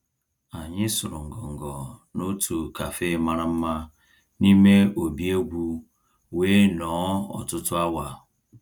Ànyị́ sụ̀rụ́ ngọngọ́ n'òtù cafe màrà mmá n'ímé òbí égwú wéé nọ̀ọ́ ọ̀tụtụ́ awa.